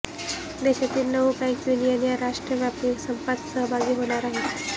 देशातील नऊ bank union या राष्ट्रव्यापी संपात सहभागी होणार आहेत